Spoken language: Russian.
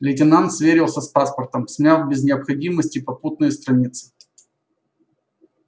лейтенант сверился с паспортом смяв без необходимости попутные страницы